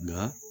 Nka